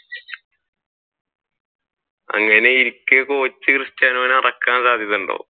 അങ്ങനെയിരിക്കെ Portugal cristiano യെ ഇറക്കാൻ സാധ്യതയുണ്ടോ?